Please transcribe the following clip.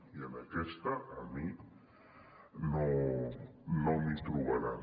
i en aquesta a mi no m’hi trobaran